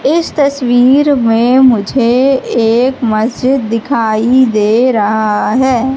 इस तस्वीर में मुझे एक मस्जिद दिखाई दे रहा है।